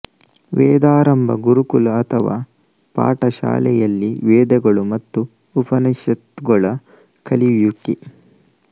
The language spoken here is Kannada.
ವೇದಾರಂಭ ಗುರುಕುಲ ಅಥವಾ ಪಾಠಶಾಲೆಯಲ್ಲಿ ವೇದಗಳು ಮತ್ತು ಉಪನಿಷತ್ತುಗಳ ಕಲಿಯುವಿಕೆ